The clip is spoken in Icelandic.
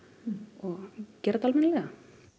og gera þetta almennilega